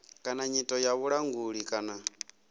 kana nyito ya vhulanguli kana